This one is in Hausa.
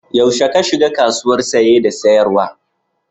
Yaushe ka shiga kasuwar Saye da sayarwa?